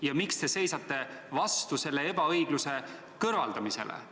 Ja kui näete, miks te seisate vastu selle ebaõigluse kõrvaldamisele?